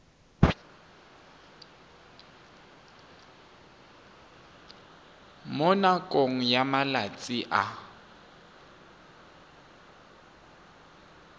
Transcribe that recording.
mo nakong ya malatsi a